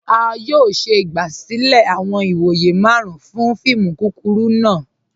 A yọ̀ọ̀ ṣẹ igbasilẹ̀ awọn ìwọ̀yẹ̀ màrùn fún fíìmù kúkúrù náà